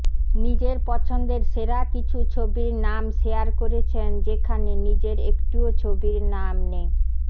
নিজের পছন্দের সেরা কিছু ছবির নাম শেয়ার করেছেন যেখানে নিজের একটিও ছবির নাম নেই